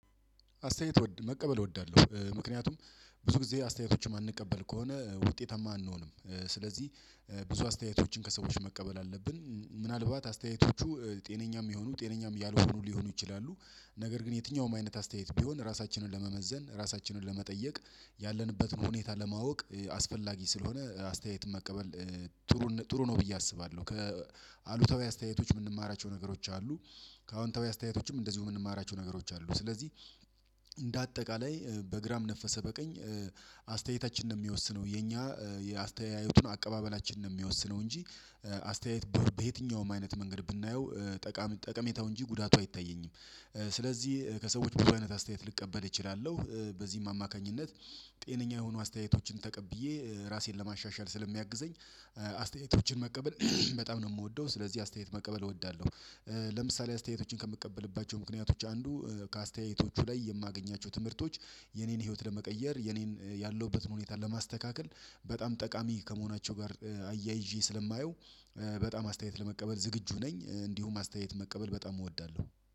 አስተያየት መቀበል እወዳለሁ ምክንያቱም ብዙ ጊዜ አስተያየቶችን እማንቀበል ከሆነ ውጤታማ አንሆንም ስለዚህ ብዙ አስተያየቶችን ከሰዎች መቀበል አለብን። ምናልባት አስተያየቶቹ ጤነኛም የሚሆኑ ጤነኛም ያልሆኑ ሊሆኑ ይችላሉ። ነገር ግን የትኛውም አይነት አስተያየት ቢሆን ራሳችንን ለመመዘን ለመጠየቅ ያለንበትን ሁኔታ ለማወቅ አስፈላጊ ስለሆነ አስተያየት መቀበል ጥሩ ነው ብዬ አስባለሁ። ከአሉታዊ አስተያየቶች የምንማራቸው ነገሮች አሉ። ከአሁን ተወያይ አስተያየቶችም እንደዚሁ የምንማራቸው ነገሮች አሉ። ስለዚህ እንደ አጠቃላይ በግራም ነፈሰ በቀኝ አስተያየታችን ነው የሚወስነው የኛ የአስተያየቱን አቀባበላችን ነው የሚወስነው። እንጂ አስተያየት በየትኛውም አይነት መንገድ ብናየው ጠቃሚ ጠቀሜታው እንጂ ጉዳቱ አይታየኝም። ስለዚህ ከሰዎች በአይነት አስተያየት ልቀበል እችላለሁ። በዚህም አማካኝነት ጤነኛ የሆኑ አስተያየቶችን ተቀብዬ ራሴን ለማሻሻል ስለሚያግዘኝ አስተያየቶችን መቀበል በጣም ነው እምወደው ስለዚህ አስተያየት መቀበል እወዳለሁ። ለምሳሌ አስተያየቶችን ከምቀበልባቸው ምክንያቶች አንዱ ከአስተያየቶቹ ላይ የማገኛቸው ትምህርቶች የኔን ህይወት ለመቀየር የኔን ያለሁበትን ሁኔታ ለማስተካከል በጣም ጠቃሚ ከመሆናቸው ጋር አያይዤ ስለማየው። በጣም አስተያየት ለመቀበል ዝግጁ ነኝ እንዲሁም አስተያየት መቀበል በጣም እወዳለሁ